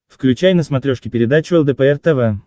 включай на смотрешке передачу лдпр тв